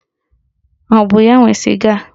Ọ bụ ya nwe sịga a?